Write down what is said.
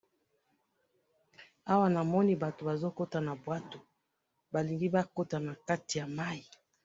awanamoni batu bazokota nabuato balingibakota nakati yamai